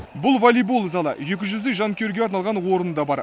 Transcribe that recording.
бұл волейбол залы екі жүздей жанкүйерге арналған орны да бар